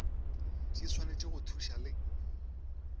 di swanetše go thuša le